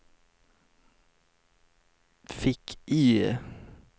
fick-IE